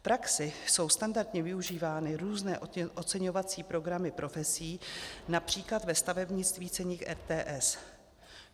V praxi jsou standardně využívány různé oceňovací programy profesí, například ve stavebnictví ceník RTS.